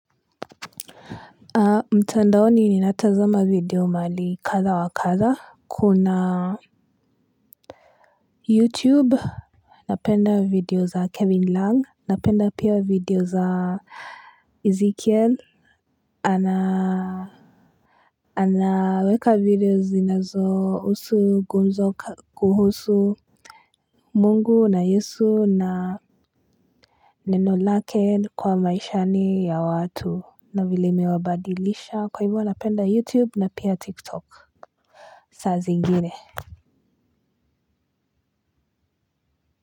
Mtandaoni ninatazama video mahali kadha wa kadha kuna youtube napenda video za kevin lang napenda pia video za ezekiel ana anaweka video zinazo husu gumzo kuhusu mungu na yesu na neno lake kwa maishani ya watu na vile imewabadilisha kwa hivyo napenda youtube na pia tiktok sa zingine.